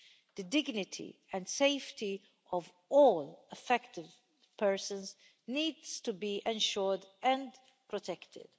The dignity and safety of all affected persons needs to be ensured and protected.